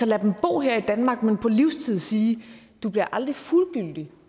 lader dem bo her i danmark på livstid siger du bliver aldrig et fuldgyldigt